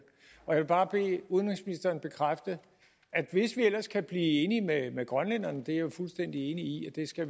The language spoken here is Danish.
jeg vil bare bede udenrigsministeren bekræfte at hvis vi ellers kan blive enige med grønlænderne det er jeg jo fuldstændig enig i at vi skal